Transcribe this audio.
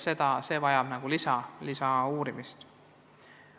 See vajab lisauurimist.